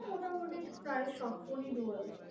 মোটামুটি প্রায় সব phone ই dual